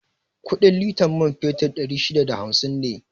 Kuɗin litan man fetur ɗari shida da hamsin ne